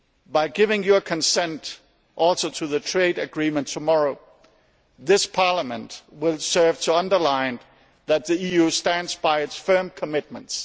By also giving your consent to the trade agreement tomorrow, this Parliament will serve to underline that the EU stands by its firm commitments.